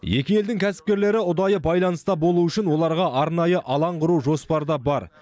екі елдің кәсіпкерлері ұдайы байланыста болу үшін оларға арнайы алаң құру жоспарда бар